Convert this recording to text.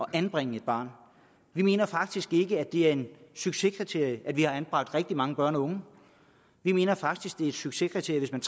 at anbringe et barn vi mener faktisk ikke at det er et succeskriterium at man har anbragt rigtig mange børn og unge vi mener faktisk at det er et succeskriterium